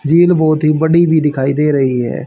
झील बहुत ही बड़ी भी दिखाई दे रही है।